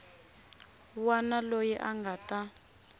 wana loyi a nga ta